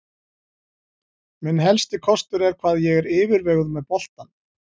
Minn helsti kostur er hvað ég er yfirveguð með boltann.